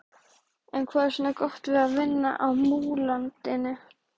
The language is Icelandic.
En hvað er svona gott við að vinna á Múlalundi?